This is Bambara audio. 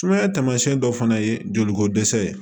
Sumaya taamasiyɛn dɔ fana ye joliko dɛsɛ ye